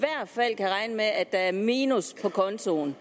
fald kan regne med at der er minus på kontoen